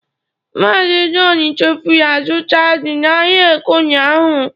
Mazị john chefuru azụta ji n'ahịa Eke ụnyahụ.